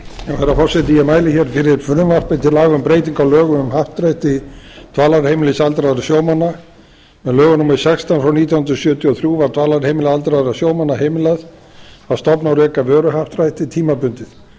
herra forseti ég mæli hér fyrir frumvarp til laga um breyting á lögum um happdrætti dvalarheimilis aldraðra sjómanna með lögum númer sextán þrettánda apríl nítján hundruð sjötíu og þrjú var dvalarheimili aldraðra sjómanna heimilað að stofna og reka vöruhappdrætti tímabundið